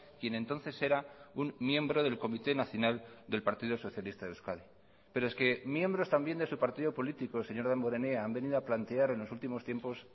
quien entonces era un miembro del comité nacional del partido socialista de euskadi pero es que miembros también de su partido político señor damborenea han venido a plantear en los últimos tiempos